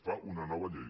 fa una nova llei